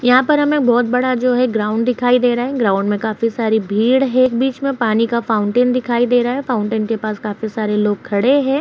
यहां पर हमें बहोत बड़ा जो है ग्राउन्ड दिखाई दे रहा है। ग्राउन्ड मे काफी सारी भीड़ है। एक बीच मे पानी का फाउंटेन दिखाई दे रहा है। फाउंटेन के पास काफी सारे लोग खड़े हैं।